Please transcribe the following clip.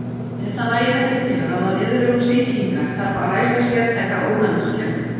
Ef það nægir ekki til að ráða niðurlögum sýkingar þarf að ræsa sértæka ónæmiskerfið.